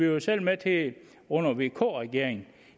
jo selv med til det under vk regeringen